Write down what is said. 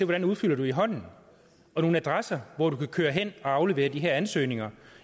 man udfylder i hånden og nogle adresser hvor man kan køre hen at aflevere de her ansøgninger